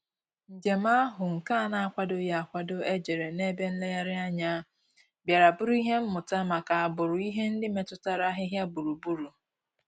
Njèm áhụ́ nke á nà-ákwàdòghị́ ákwádò éjérè n’ébè nlèrèànyà, bìàrà bụ́rụ́ ìhè mmụ́tà màkà àgbụ̀rụ̀ ìhè ndị́ métụ́tàrà àhị́hị́à gbúrù-gbúrù.